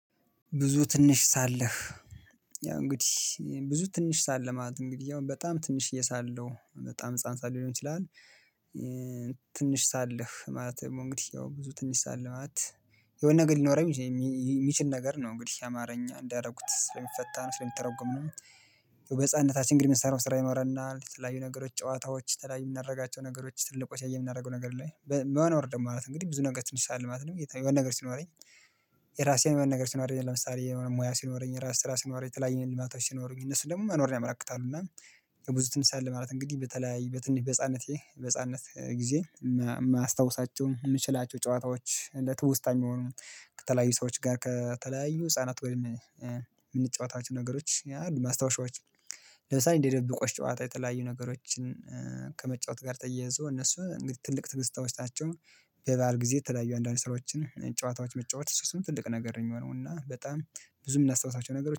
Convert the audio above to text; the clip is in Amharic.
ብዙ ትንሽ ሳለህ ያው እንግዲህ ብዙ ትንሽ ሳለህ ማለት እንግዲህ ያው በጣም ትንሽዬ ሳለው በጣም ህፃን ሳለው ሊሆን ይችላል። ሳለህ ማለት ደግሞ እንግዲህ ያው ብዙ ትንሽ ሳለህ ማለት የሆነ ነገር ሊኖረኝ የሚችል ነገር ነው እንግዲህ አማርኛ እንዳደረጉት ስለሚፈታ ነው ስለሚተረጎም ነው። በህፃንነታችን እንግዲህ የምንሰራው ስራ ይኖረናል የተለያዩ ነገሮች ጨዋታዎች የተለያዩ የምናደርጋቸው ነገሮች ትልቅ ቆሻይ የምናደርገው ነገር ላይ መኖር ደግሞ ማለት እንግዲህ ብዙ ነገር ትንሽ ሻል ማለት ነው የሆነ ነገር ሲኖረኝ። የራሴን የሆነ ነገር ሲኖረኝ ለምሳሌ የሆነ ሙያ ሲኖረኝ የራስ ስራ ሲኖረኝ የተለያየ ልማቶች ሲኖሩኝ እነሱን ደግሞ መኖርን ያመላክታሉ። እና የብዙ ትንሳኤ አለ ማለት እንግዲህ በተለያይ በትንሽ በህፃነቴ በህፃነት ጊዜ የማያስታውሳቸው የምችላቸው ጨዋታዎች ለትውስታ የሚሆኑ ከተለያዩ ሰዎች ጋር ከተለያዩ ህፃናት ወይም የምንጫወታቸው ነገሮች አሉ። ማስታወሻዎች ለምሳሌ እንደ ድብብቆሽ ጨዋታ የተለያዩ ነገሮችን ከመጫወት ጋር ተያይዞ እነሱ ትልቅ ትዝታዎች ናችው። በባል ጊዜ ተለያዩ አንዳንድ ስራዎችን ጨዋታዎች መጫወት ትልቅ ነገር ነው የሚሆነው እና በጣም ብዙ የምናስታውሳቸው ነገሮች